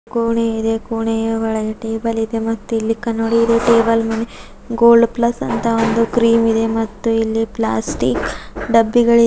ಕೋಣೆ ಇದೆ ಕೋಣೆಯ ಒಳಗೆ ಟೇಬಲ್ ಇದೆ ಮತ್ತೆ ಇಲ್ಲಿ ಕನ್ನಡಿಯಿದೆ ಟೇಬಲ್ ಮೇಲೆ ಗೋಲ್ಡ್ ಪ್ಲಸ್ ಅಂತ ಕ್ರೀಂ ಇದೆ ಮತ್ತು ಇಲ್ಲಿ ಪ್ಲಾಸ್ಟಿಕ್ ಡಬ್ಬಿಗಳಿವೆ.